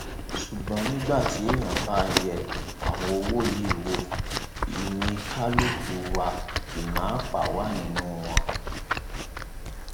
ṣùgbọn nígbà tí èèyàn bá yẹ àwọn owó yìí wò ìníkàkuwà ìná àpà wà nínú wọn